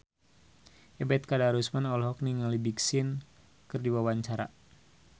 Ebet Kadarusman olohok ningali Big Sean keur diwawancara